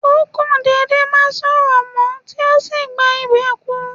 Ó kò dédé má sọ̀rọ̀ mó, tí ó sì gba ìbè kú.